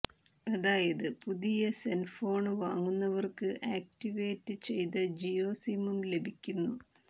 അതായത് പുതിയ സെന്ഫോണ് വാങ്ങുന്നവര്ക്ക് ആക്ടിവേറ്റ് ചെയ്ത ജിയോ സിമ്മും ലഭിക്കുന്നു